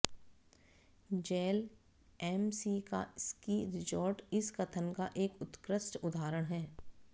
gel am See का ski resort इस कथन का एक उत्कृष्ट उदाहरण है